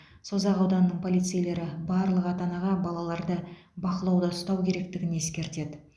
созақ ауданының полицейлері барлық ата анаға балаларды бақылауда ұстау керектігін ескертеді